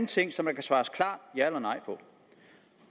ting som der kan svares klart ja eller nej